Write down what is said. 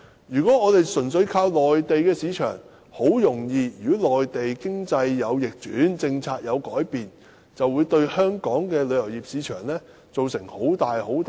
如果香港純粹依靠內地市場，一旦內地經濟逆轉或政策有所改變，很容易便會對香港的旅遊業市場造成很大震盪。